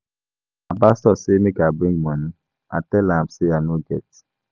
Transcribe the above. Our pastor say make I bring money. I tell am say I no get.